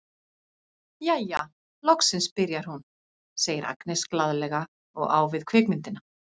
Jæja, loksins byrjar hún, segir Agnes glaðlega og á við kvikmyndina.